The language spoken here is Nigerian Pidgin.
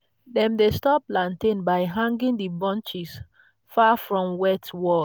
dem dey store plantain by hanging the bunches far from wet wall.